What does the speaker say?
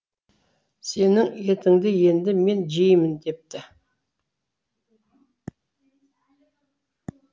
сенің етіңді енді мен жеймін депті